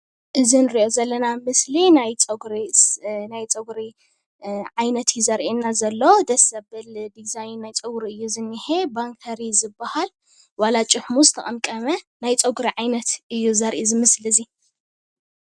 እዚ ንሪኦ ዘለና ምስሊ ናይ ፀጉሪ ዓይነት እዩ ዘርኤና ዘሎ፡፡ ደስ ዘብል ዲዛይን ናይ ጨጉሪ እዩ ዝኒሀ፡፡ ባንከር እዩ ዝበሃል፡፡ ዋላ ጭሕሙ ዝተቐምቀመ ናይ ፀጉሪ ዓይነት እዩ ዘርኢ እዚ ምሰሊ እዚ፡፡